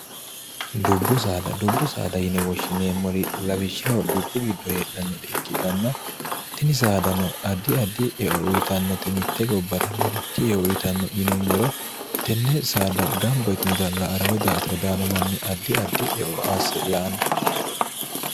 dubbu saddubbu saada yine woshshineemmori lawishshaho dubbu giddo heedhannore ikkitanna tini saada no addi addi eo uyitannote mitte gobbara marichi yeo uyitanno yinummoro tenne saada gambo yitinot l arawe dr daano manni addi addi eoa se laanno